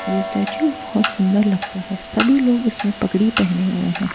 ये स्टैच्यू बहोत सुन्दर लगता है सभी लोग इसमें पगड़ी पहने हुए है।